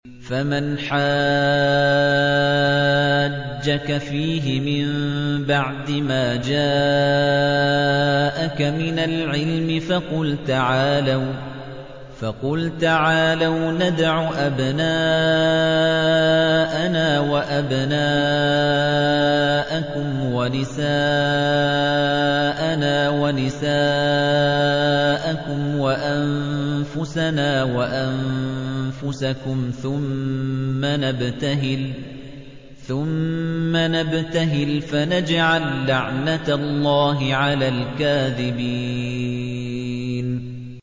فَمَنْ حَاجَّكَ فِيهِ مِن بَعْدِ مَا جَاءَكَ مِنَ الْعِلْمِ فَقُلْ تَعَالَوْا نَدْعُ أَبْنَاءَنَا وَأَبْنَاءَكُمْ وَنِسَاءَنَا وَنِسَاءَكُمْ وَأَنفُسَنَا وَأَنفُسَكُمْ ثُمَّ نَبْتَهِلْ فَنَجْعَل لَّعْنَتَ اللَّهِ عَلَى الْكَاذِبِينَ